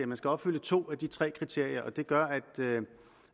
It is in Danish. man skal opfylde to af de tre kriterier og det gør